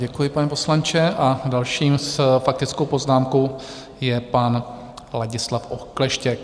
Děkuji, pane poslanče, a další s faktickou poznámkou je pan Ladislav Okleštěk.